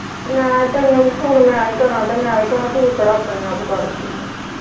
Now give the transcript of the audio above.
ਲੈ ਤੈਨੂੰ phone ਮੈਂ ਈ ਕਰਾਂ ਤੇ ਮੈਂ ਈ ਕਰਾਂ ਤੂੰ ਕਿਹੜਾ ਆਪਣੇ ਆਪ ਕਰਦੀ ਆਂ।